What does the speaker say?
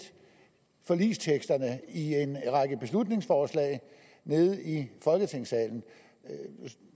forligsteksterne i en række beslutningsforslag nede i folketingssalen